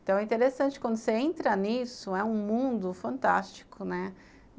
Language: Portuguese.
Então é interessante quando você entra nisso, é um mundo fantástico, né?